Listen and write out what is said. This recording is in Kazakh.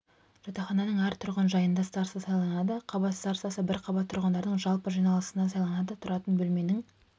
жатақхананың әр тұрғын жайында староста сайланады қабат старостасы бір қабат тұрғындарының жалпы жиналысында сайланады тұратын бөлменің